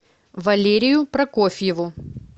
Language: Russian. валерию прокофьеву